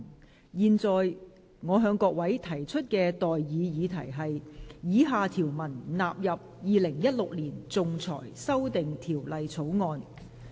我現在向各位提出的待議議題是：以下條文納入《2016年仲裁條例草案》。